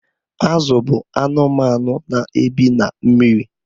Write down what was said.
Azụ bụ anụmanụ na-ebi na mmiri.